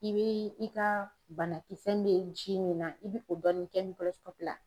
I bɛ i ka banakisɛn mɛ ji min na i bɛ o dɔɔnin kɛ ni la.